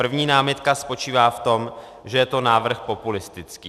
První námitka spočívá v tom, že je to návrh populistický.